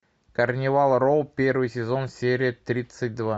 карнивал роу первый сезон серия тридцать два